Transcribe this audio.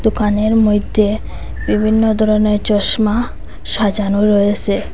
দোকানের মইধ্যে বিভিন্ন ধরনের চশমা সাজানো রয়েসে।